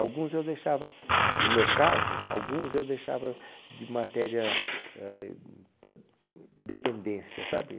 Alguns eu deixava, no meu caso, alguns eu deixava de matéria, eh, hum, pr, de pendência, sabe?